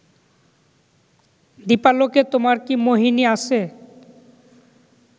দীপালোকে তোমার কি মোহিনী আছে